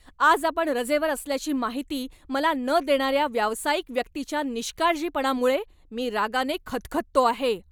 आज आपण रजेवर असल्याची माहिती मला न देणाऱ्या व्यावसायिक व्यक्तीच्या निष्काळजीपणामुळे मी रागाने खदखदतो आहे.